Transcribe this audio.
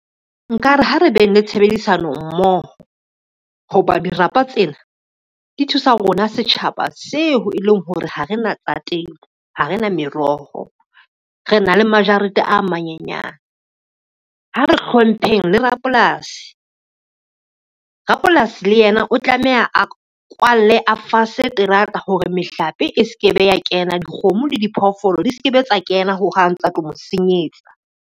Nkare ha re beng le tshebedisano mmoho, ho ba dirapa tsena di thusa rona setjhaba seo e leng hore ha re na tsa temo, ha rena meroho re na le majarete a manyenyane. Ha re hlompheng le rapolasi, rapolasi le yena o tlameha a kwalle a fase terata hore mehlape e ske be ya kena, dikgomo le diphoofolo di ske be tsa kena ho hang tsa tlo mo senyetsa.